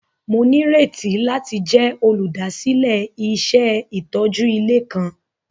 Mo nírètí láti jẹ olúdásílẹ̀ iṣẹ itójú ilé kan.